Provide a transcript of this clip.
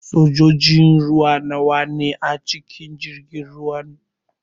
Sojojin ruwa nawa ne a cikin jirgin ruwan?